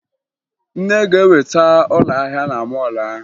Nne ga-enweta ụlọ ahịa na mọọlụ ahụ